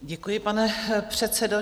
Děkuji, pane předsedo.